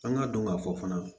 An ka dɔn ka fɔ fana